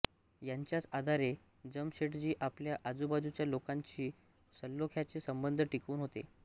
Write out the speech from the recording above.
यांच्याच आधारे जमशेटजी आपल्या आजूबाजूच्या लोकांशी सलोख्याचे संबंध टिकवून होते